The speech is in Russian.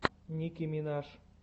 ники минаж